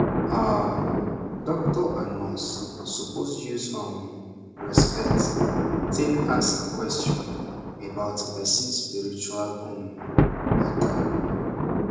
ah doctor and nurse suppose use um respect tak ask question about person spiritual um mata